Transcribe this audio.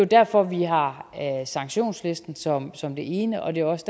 derfor vi har sanktionslisten som som det ene og det er også